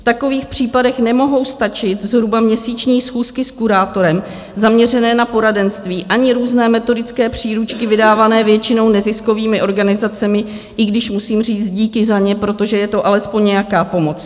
V takových případech nemohou stačit zhruba měsíční schůzky s kurátorem zaměřené na poradenství ani různé metodické příručky vydávané většinou neziskovými organizacemi, i když musím říct díky za ně, protože je to alespoň nějaká pomoc.